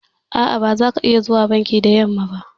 A'a, ba zaka iya zuwa banki da yamma ba.